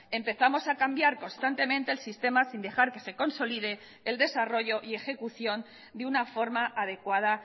empezamos a cambiar constantemente el sistema sin dejar que se consolide el desarrollo y ejecución de una forma adecuada